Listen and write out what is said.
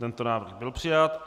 Tento návrh byl přijat.